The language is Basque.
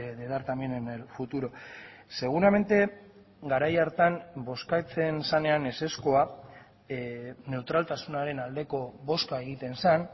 de dar también en el futuro seguramente garai hartan bozkatzen zenean ezezkoa neutraltasunaren aldeko bozka egiten zen